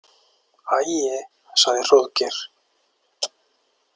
æi, sagði Hróðgeir.